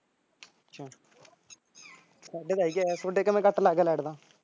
ਸਾਡੇ ਤਾਂ ਹੈਗੀ ਤੁਹਾਡੇ ਕਿਵੇਂ ਕੱਟ ਲੱਗ ਗਿਆ ਲਾਈਟ ਦਾ